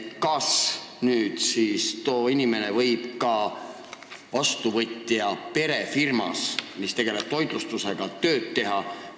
Kas siis too inimene võib ka vastuvõtja perefirmas, mis tegeleb toitlustusega, tööd teha?